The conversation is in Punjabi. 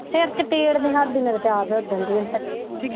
ਸਿਰ ਚ ਭੀੜ ਨਹੀਂ ਹਟਦੀ ਮੇਰੇ ਤੇ ਆਪ ਓਦਣ ਦੀ ਹੁਣ ਤੇ